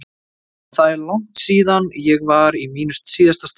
En það er langt síðan ég var í mínu síðasta starfi.